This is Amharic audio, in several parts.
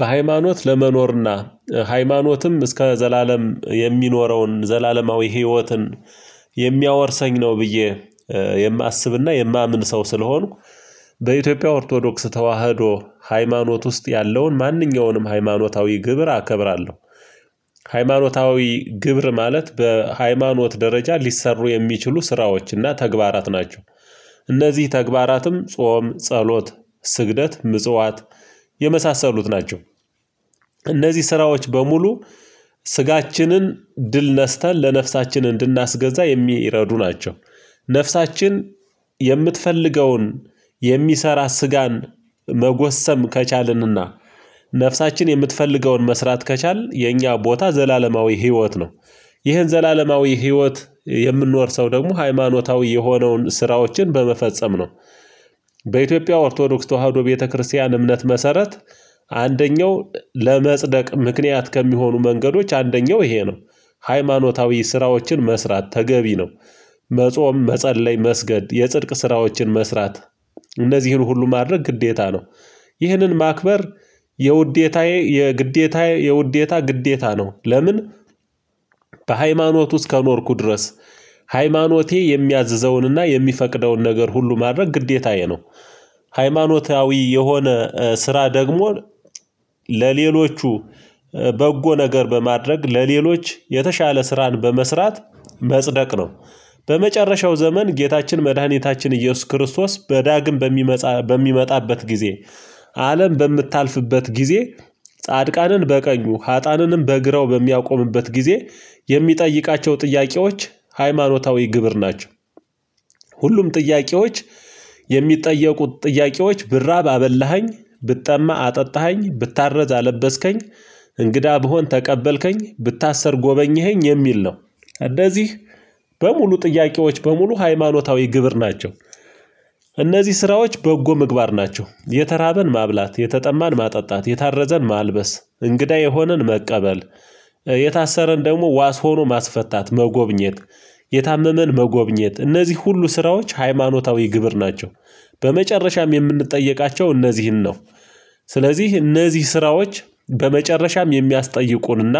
በሃይማኖት ለመኖርና ሃይማኖትም እስከ ዘላለም የሚኖረውን ዘላለማዊ ህይወትን የሚያወርሰኝ ነው። ብዬ የማስብና የማምን ሰው ስለሆንኩ። በኢትዮጵያ ኦርቶዶክስ ተዋህዶ ሃይማኖት ውስጥ ያለውን ማንኛውንም ሃይማኖታዊ ግብር አከብራለሁ። ሃይማኖታዊ ግብር ማለት በሃይማኖት ደረጃ ሊሰሩ የሚችሉ ስራዎችና ተግባራት ናቸው። በኢትዮጵያ ኦርቶዶክስ ተዋህዶ ሃይማኖት ውስጥ ያለውን ማንኛውንም ሃይማኖታዊ ግብር አከብራለሁ እነዚህ ተግባራትም ጾም ጸሎት ስግደት ምጽዋት የመሳሰሉት ናቸው። እነዚህ ስራዎች በሙሉ ስጋችንን ድል ነስተን ለነፍሳችን እንድናስገዛ የሚረዱ ናቸው። ነፍሳችን የምትፈልገውን የሚሰራ ስጋን መጎሰም ከቻልንና ነፍሳችን የምትፈልገውን መስራት ከቻልን የኛ ቦታ ዘላለማዊ ህይወት ነው። ይህን ዘላለማዊ ህይወት የምንወርሰው ደግሞ ሃይማኖታዊ የሆነውን ስራዎችን በመፈጸም ነው። አንደኛው ለመፅደቅ ምክኒያት ከሚሆኑ መንገዶች አንደኛው ይሄ ነው። ሃይማኖታዊ ስራዎችን መስራት ተገቢ ነው። መጾም መፀለይ መስገድ የፅድቅ ስራወችን መስራት እነዚህን ሁሉ ማድረግ ግዴታ ነው። ይህንን ማክበር የውዴታዬ የግዴታዬ የውዴታ ግዴታ ነው ለምን? በሃይማኖት ውስጥ ከኖርኩ ድረስ ሃይማኖቴ የሚያዝዘውንና የሚፈቅደውን ነገር ሁሉ ማድረግ ግዴታዬ ነው። ሃይማኖታዊ የሆነ ስራ ደግሞ ለሌሎቹ በጎ ነገር በማድረግ ለሌሎች የተሻለ ስራን በመስራት መጽደቅ ነው። በመጨረሻው ዘመን ጌታችን መድኃኒታችን ኢየሱስ ክርስቶስ በዳግም በሚመጣበት ጊዜ አለም በምታልፍበት ጊዜ ጻድቃንን በቀኙ ሀጣንንም በግራው በሚያቆምበት ጊዜ የሚጠይቃቸው ጥያቄዎች ሃይማኖታዊ ግብር ናቸው። ሁሉም ጥያቄዎች የሚጠየቁት ጥያቄዎች ብራብ አበላኸኝ ብጠማ አጠጣኸኝ ብታረዝ አለበስከኝ እንግዳ ብሆን ተቀበልከኝ ብታሰር ጎበኘኸኝ የሚል ነው። እንደዚህ በሙሉ ጥያቄዎች በሙሉ ሃይማኖታዊ ግብር ናቸው። እነዚህ ስራዎች በጎ ምግባር ናቸው የተራበን ማብላት የተጠማን ማጠጣት የታረዘን ማልበስ እንግዳ የሆነን መቀበል። የታሰረን ደግሞ ዋስ ሆኖ ማስፈታት መጎብኘት የታመመን መጎብኘት እነዚህ ሁሉ ስራዎች ሃይማኖታዊ ግብር ናቸው። በመጨረሻም የምንጠየቃቸው እነዚህን ነው። ስለዚህ እነዚህ ስራዎች በመጨረሻም የሚያስጠይቁንና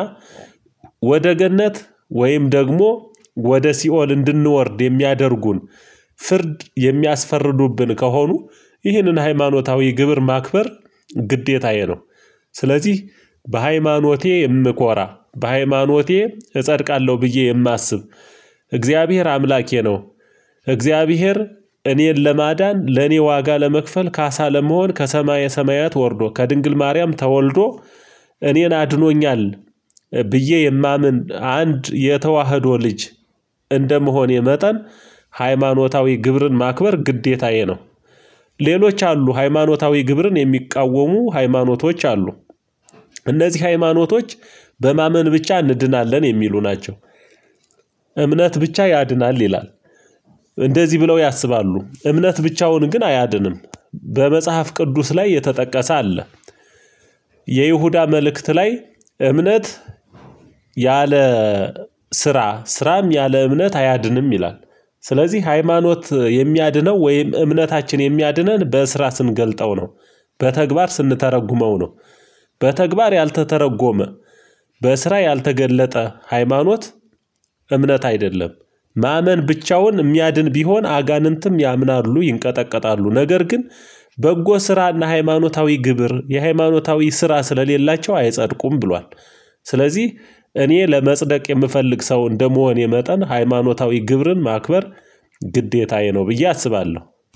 ወደ ገነት ወይም ደግሞ ወደ ሲኦል እንድንወርድ የሚያደርጉን ፍርድ የሚያስፈርዱብን ከሆኑ ይህንን ሃይማኖታዊ ግብር ማክበር ግዴታዬ ነው። ስለዚህ በሃይማኖቴ እምኮራ በሃይማኖቴ እጸድቃለሁ ብዬ የማስብ እግዚአብሔር አምላኬ ነው። እግዚአብሔር እኔን ለማዳን ለኔ ዋጋ ለመክፈል ካሳ ለመሆን ከሰማየ ሰማያት ወርዶ ከድንግል ማርያም ተወልዶ እኔን አድኖኛል። ብዬ የማምን አንድ የተዋህዶ ልጅ እንደመሆኔ መጠን ሃይማኖታዊ ግብርን ማክበር ግዴታዬ ነው። ሌሎች አሉ ሃይማኖታዊ ግብርን የሚቃወሙ ሃይማኖቶች አሉ። እነዚህ ሃይማኖቶች በማመን ብቻ እንድናለን የሚሉ ናቸው። እምነት ብቻ ያድናል ይላል። እንደዚህ ብለው ያስባሉ እምነት ብቻውን ግን አያድንም። በመጽሐፍ ቅዱስ ላይ የተጠቀሰ አለ። የይሁዳ መልእክት ላይ እምነት ያለ ስራ ስራም ያለ እምነት አያድንም ይላል። ስለዚህ ሃይማኖት የሚያድነው ወይም እምነታችን የሚያድነን በስራ ስንገልጠው ነው። በተግባር ስንተረጉመው ነው። በተግባር ያልተተረጎመ በስራ ያልተገለጠ ሃይማኖት እምነት አይደለም። ማመን ብቻውን የሚያድን ቢሆን አጋንንትም ያምናሉ ይንቀጠቀጣሉ ነገር ግን በጎ ስራና ሃይማኖታዊ ግብር የሃይማኖታዊ ስራ ስለሌላቸው አይጸድቁም ብሏል። ስለዚህ እኔ ለመጽደቅ የምፈልግ ሰው እንደመሆኔ የመጠን ሃይማኖታዊ ግብርን ማክበር ግዴታዬ ነው ብዬ አስባለሁ